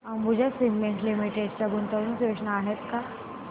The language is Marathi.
अंबुजा सीमेंट लिमिटेड च्या गुंतवणूक योजना आहेत का